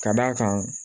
Ka d'a kan